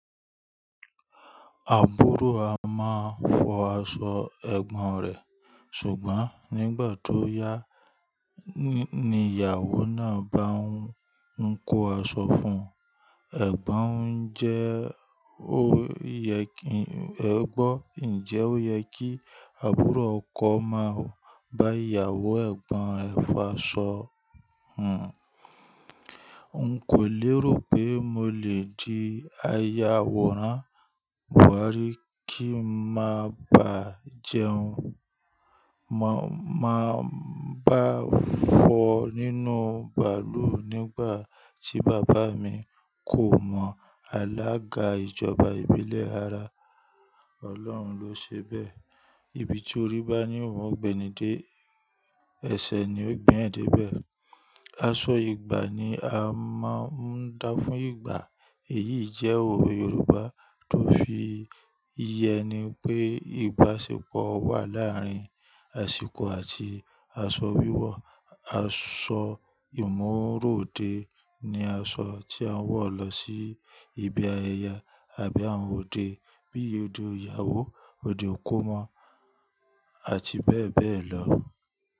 Àbúrò a máa fọ aṣọ ẹ̀gbọ́n rẹ̀, ṣùgbọ́n nígbà tó yá, ni ìyàwó náà bá ń kó aṣọ fún ẹ̀gbọ́n, ǹjẹ́ ó yẹ kí àbúrò ọkọ máa bá ìyàwó ẹ̀gbọ́n ẹ fọ aṣọ hàn? N kò lérò pé mo lè di ayàwòrán wá rí kí n má bà jẹun. Ma máa bá fọ nínú bàlúù nígbà tí bàbá mi kò mọ àlága ìjọba ìbílẹ̀ ara. Ọlọ́run ló ṣe bẹ́ẹ̀. Ibi tí orí bá ní òun gbẹ́ni dé, ẹsẹ̀ ni ó gbé ẹ̀ dé bẹ̀. Aṣọ ìgbà ni a máa ń dá fún ìgbà. Èyí jẹ́ òwe Yorùbá tó fi yẹni pé ìbáṣepọ̀ wà láàárín àsìkò àti aṣọ wíwọ̀. Aṣọ ìmúrò dé ní aṣọ tí a ń wọ̀ lọ sí ibi ayẹyẹ àbí àwọn òde bí i òde ìyàwó, òde ikomọ́ àti bẹ́ẹ̀ bẹ́ẹ̀ lọ.